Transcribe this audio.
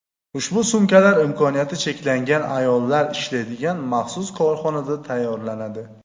Ushbu sumkalar imkoniyati cheklangan ayollar ishlaydigan maxsus korxonada tayyorlanadi.